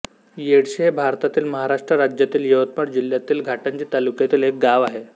येडशी हे भारतातील महाराष्ट्र राज्यातील यवतमाळ जिल्ह्यातील घाटंजी तालुक्यातील एक गाव आहे